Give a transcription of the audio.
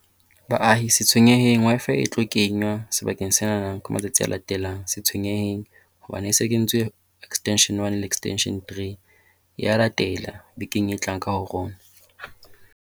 Baahi, se tshwenyeheng Wi-Fi e tlo kenngwa sebakeng sena ka matsatsi a latelang. Se tshwenyeheng. Hobane e se e kentswe extension One le extension Three. E a latela bekeng e tlang ka ho rona.